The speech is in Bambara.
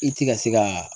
I ti ka se ka